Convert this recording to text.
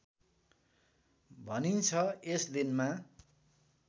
भनिन्छ यस दिनमा